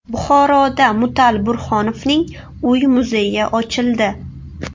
Buxoroda Mutal Burhonovning uy-muzeyi ochildi.